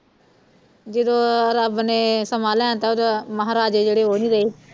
ਜਦੋਂ ਰੱਬ ਨੇ ਸਮਾਂ ਲੈਣ ਤਾ ਓਦੋਂ ਮਹਾਰਾਜੇ ਜਿਹੜੇ ਓਹ ਨੀ ਰਹੇ